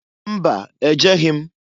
Mba! Ejeghi m.